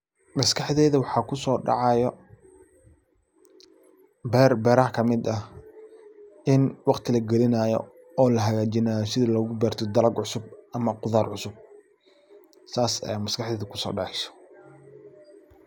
Maskaxdayda waxaa kusodacaaya beer beeraha kamid eh in waqti lagilinaayo oo lahagajinaayo si loogu beerto dalaga cusub ama qudar cusub sas aya maskaxdayda kusodaceysa.